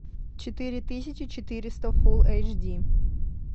четыре тысячи четыреста фулл эйч ди